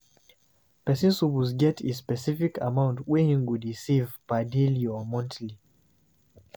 Persin suppose get a specific amount wey him go de save per daily or monthly